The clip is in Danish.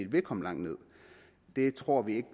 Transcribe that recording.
vil komme langt ned det tror vi